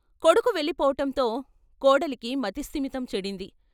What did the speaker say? కొడుకు వెళ్ళిపోవటంతో కోడలికి మతి స్థిమితం చెడింది.